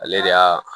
Ale de y'a